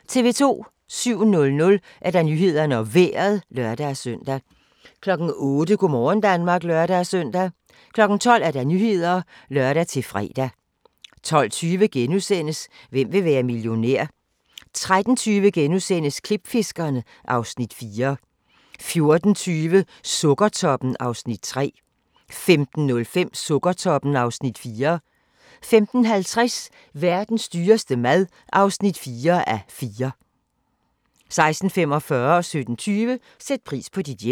07:00: Nyhederne og Vejret (lør-søn) 08:00: Go' morgen Danmark (lør-søn) 12:00: Nyhederne (lør-fre) 12:20: Hvem vil være millionær? * 13:20: Klipfiskerne (Afs. 4)* 14:20: Sukkertoppen (Afs. 3) 15:05: Sukkertoppen (Afs. 4) 15:50: Verdens dyreste mad (4:4) 16:45: Sæt pris på dit hjem 17:20: Sæt pris på dit hjem